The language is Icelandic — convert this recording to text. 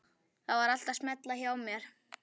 Það var allt að smella hjá mér.